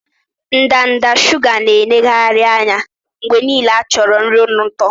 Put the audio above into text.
Ndanda shuga na-eneghari anya mgbe niile acho nri ụtọ